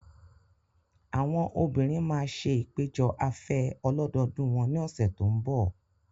Àwọn obìnrin máa ṣe ìpéjọ afẹ́ ọlọ́dọọdún wọn ní ọ̀sẹ̀ tó ń bọ̀.